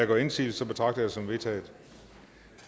gør indsigelse betragter jeg det som vedtaget